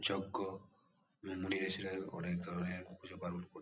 যজ্ঞ মুনি ঋষিরা অনেক ধরনের পুজো পার্বনে করতেন |